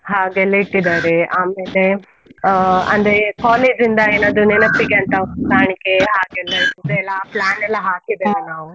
ಹಾಗೆ ಎಲ್ಲ ಇಟ್ಟಿದ್ದಾರೆ, ಆಮೇಲೆ ಆ ಅಂದ್ರೆ college ಇಂದ ಏನಾದ್ರು ನೆನಪಿಗೆ ಅಂತ ಕಾಣಿಕೆ ಹಾಗೆ ಎಲ್ಲಾ plan ಎಲ್ಲಾ ಹಾಕಿದೇವೆ ನಾವು.